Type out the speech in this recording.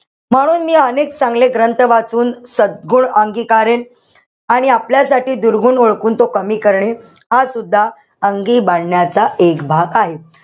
म्हणून मी अनेक चांगले ग्रंथ वाचून सद्गुण अंगिकारेल. आणि आपल्यासाठी दुर्गुण ओळखून तो कमी करणे. हासुद्धा अंगी बाणण्याचा एक भाग आहे.